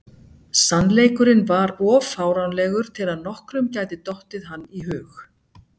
Sannleikurinn var of fáránlegur til að nokkrum gæti dottið hann í hug.